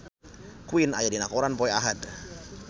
Queen aya dina koran poe Ahad